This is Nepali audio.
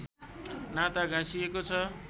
नाता गाँसिएको छ